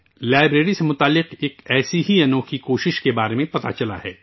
library سے متعلق ایسی ہی ایک انوکھی کوشش سامنے آئی ہے